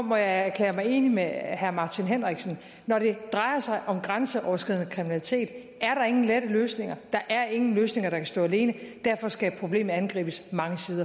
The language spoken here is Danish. må jeg erklære mig enig med herre martin henriksen når det drejer sig om grænseoverskridende kriminalitet er der ingen lette løsninger der er ingen løsninger der kan stå alene derfor skal problemet angribes